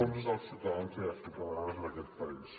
són dels ciutadans i les ciutadanes d’aquest país